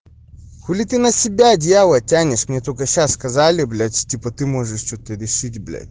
хули ты на себя одеяло тянешь мне только сейчас сказали блять типа ты можешь что-то решить блядь